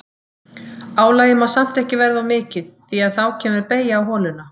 Álagið má samt ekki verða of mikið því að þá kemur beygja á holuna.